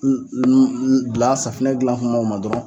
N n n dila safinɛ dilan kuma kuma dɔrɔn